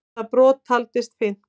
Það brot taldist fyrnt.